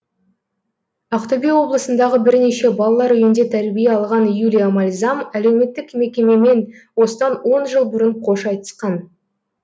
ақтөбе облысындағы бірнеше балалар үйінде тәрбие алған юлия мальзам әлеуметтік мекемемен осыдан он жыл бұрын қош айтысқан